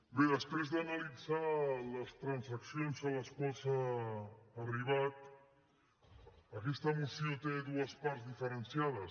bé després d’analitzar les transaccions a les quals s’ha arribat aquesta moció té dues parts diferenciades